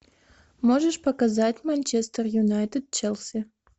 можешь показать манчестер юнайтед челси